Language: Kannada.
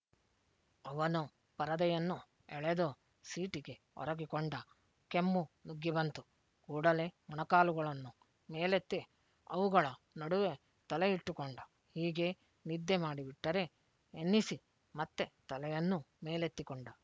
ಅವನು ಪರದೆಯನ್ನು ಎಳೆದು ಸೀಟಿಗೆ ಒರಗಿಕೊಂಡ ಕೆಮ್ಮು ನುಗ್ಗಿ ಬಂತು ಕೂಡಲೇ ಮೊಣಕಾಲುಗಳನ್ನು ಮೇಲೆತ್ತಿ ಅವುಗಳ ನಡುವೆ ತಲೆಯಿಟ್ಟುಕೊಂಡ ಹೀಗೇ ನಿದ್ದೆ ಮಾಡಿಬಿಟ್ಟರೆ ಎನ್ನಿಸಿ ಮತ್ತೆ ತಲೆಯನ್ನು ಮೇಲೆತ್ತಿಕೊಂಡ